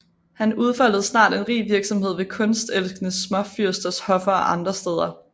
Han udfoldede snart en rig virksomhed ved kunstelskende småfyrsters hoffer og andre steder